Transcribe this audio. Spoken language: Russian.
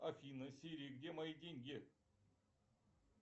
афина сири где мои деньги